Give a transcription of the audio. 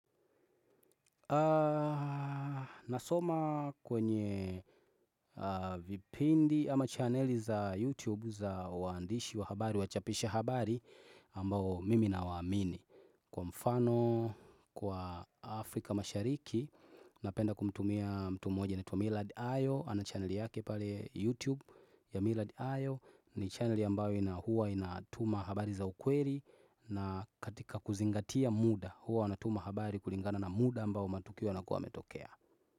Nasoma kwenye vipindi ama chaneli za YouTube za waandishi wa habari, wachapisha habari ambao mimi nawaamini Kwa mfano, kwa Afrika mashariki, napenda kumtumia mtu moja anaitwa Millard ayo ana chaneli yake pale YouTube ya Millard ayo ni chaneli ambayo ina hua inatuma habari za ukweli na katika kuzingatia muda huwa wanatuma habari kulingana na muda ambao matukio yanakuwa yametokea.